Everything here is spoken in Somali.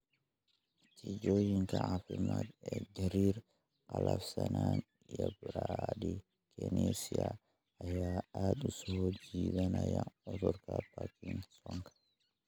Natiijooyinka caafimaad ee gariir, qallafsanaan, iyo bradykinesia ayaa aad u soo jeedinaya cudurka Parkinsonka.